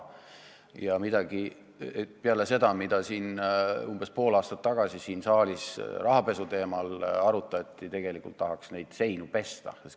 Peale seda, kui siin saalis umbes pool aastat tagasi rahapesu teemat arutati, tegelikult tahaks neid seinu pesta.